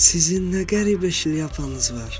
Sizin nə qəribə şlyapanız var!